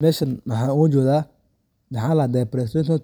Mesha waxa iga jeedah, maxa ladha presidential